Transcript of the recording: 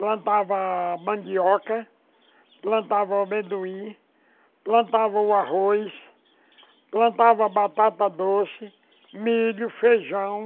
Plantava mandioca, plantava amendoim, plantava o arroz, plantava batata doce, milho, feijão.